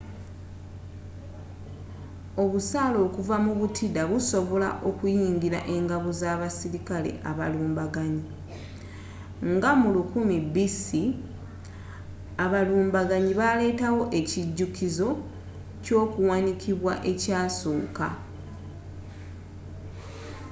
obusaale okuva mu butida busobola okuyingila engabo z'abasirikale abalumbaganyi nga mu 1000 b.c. abalumbaganyi baaletawo ekijukizo kyokuwanikibwa ekyasooka